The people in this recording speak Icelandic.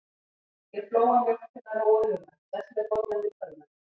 Ég flóa mjólk til að róa hugann, sest með bollann við tölvuna.